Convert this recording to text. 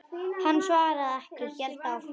Hann svaraði ekki, hélt áfram.